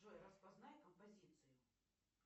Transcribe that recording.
джой распознай композицию